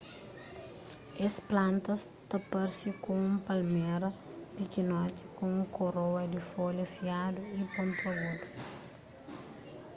es plantas ta parse ku un palméra pikinoti ku un koroa di folha fiadu y pontagudu